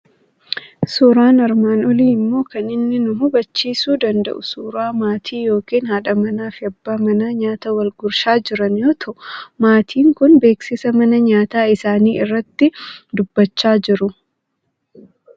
Suuraan armaan olii immoo kan inni nu habachiisuu danda'u suuraa maatii yookiin haadha manaa fi abbaa manaa nyaata wal gurshaa jiran yoo ta'u, maatiin kun beeksisa mana nyaataa isaanii irratti dubbachaa jiru.